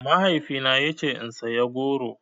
Mahaifina ya ce in saya goro.